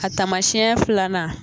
A tamasiɲɛ filanan.